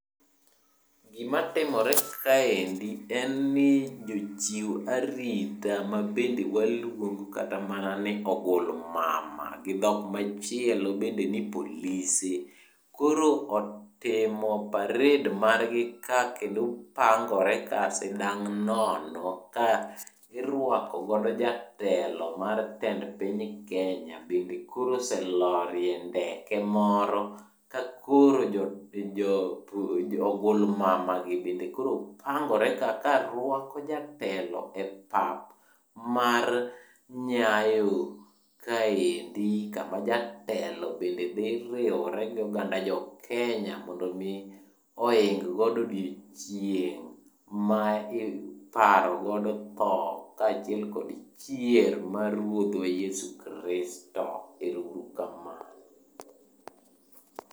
Gima timore kaendi en ni jochiw arita mabende waluongo kata mana ni ogulmama gi dhok machielo bende ni polise. Koro otimo parade margi ka kendo pangore ka sindang' nono ka irwakogo jatend piny Kenya bende koro oselorie ndeke moro. Kakoro ogulmama gi bende koro pangore ka karwako jatelo e pap mar Nyayo kaendi kama jatelo bende dhi riwire gi joiny Kenya mondo mi oing godo odiochieng' ma iparogodo tho kaachiel kod chier mar Ruodhwa Yesu Kristo. Ero uru kamano.